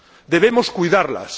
Debemos cuidarlas.